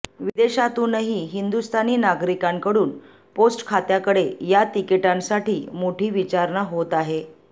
विदेशातूनही हिंदुस्थानी नागरिकांकडून पोस्ट खात्याकडे या तिकिटांसाठी मोठी विचारणा होत आहे